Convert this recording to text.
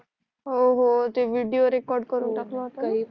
हो हो ते विडिओ रेकॉर्ड करून टाकला होता न हो